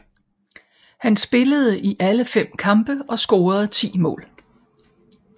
Han spillede i alle fem kampe og scorede ti mål